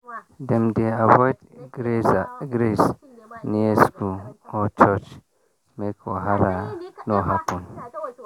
dem dey avoid graze near school or church make wahala no happen.